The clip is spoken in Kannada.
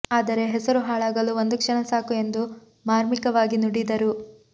ಆದರೆ ಹೆಸರು ಹಾಳಾಗಲು ಒಂದು ಕ್ಷಣ ಸಾಕು ಎಂದು ಮಾರ್ಮಿಕವಾಗಿ ನುಡಿದರು